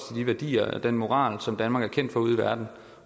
de værdier og den moral som danmark er kendt for ude i verden og